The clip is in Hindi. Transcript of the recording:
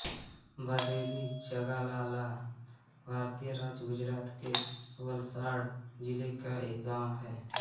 भदेली जगालाला भारतीय राज्य गुजरात के वलसाड जिले का एक गाँव है